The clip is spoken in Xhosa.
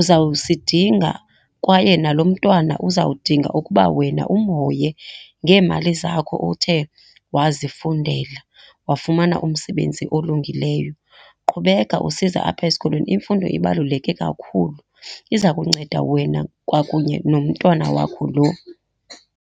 uzawusidinga kwaye nalo mntwana uzawudinga ukuba wena umhoye ngeemali zakho othe wazifundela, wafumana umsebenzi olungileyo. Qhubeka usiza apha esikolweni imfundo ibaluleke kakhulu, iza kunceda wena kwakunye nomntwana wakho lo.